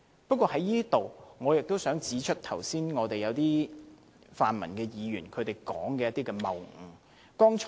不過，我亦想在此指出剛才一些泛民議員發言中的謬誤。